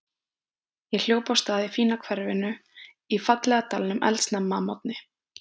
Ég hljóp af stað í fína hverfinu í fallega dalnum eldsnemma að morgni.